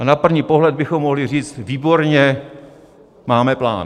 A na první pohled bychom mohli říct výborně, máme plán.